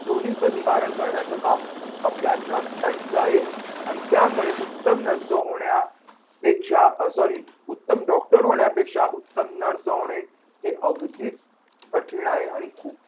दोन्हीचं निवारण करण्याचं काम आपल्या nurse ताईचं आहे. आणि त्यामुळे उत्तम nurse होण्यात अह sorry उत्तम डॉक्टर होण्यापेक्षा उत्तम nurse होणे हे अगदी कठीण आहे.